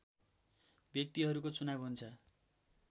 व्यक्तिहरूको चुनाव हुन्छ